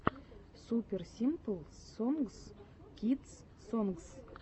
супер симпл сонгс кидс сонгс